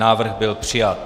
Návrh byl přijat.